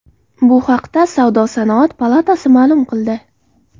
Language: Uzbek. Bu haqda Savdo-sanoat palatasi ma’lum qildi .